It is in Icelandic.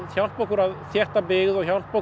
hjálpa okkur að þétta byggð eða hjálpa